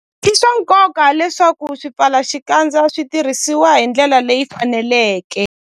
I swa nkoka leswaku swipfalaxikandza swi tirhisiwa hi ndlela leyi faneleke.